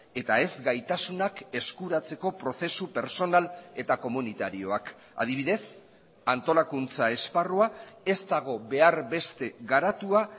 eta ez gaitasunak eskuratzeko prozesu pertsonal eta komunitarioak adibidez antolakuntza esparrua ez dago behar beste garatua